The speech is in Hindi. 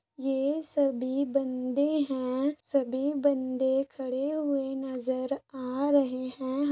ये सभी बंदे हैं सभी बंदे खड़े हुए नजर आ रहे हैं।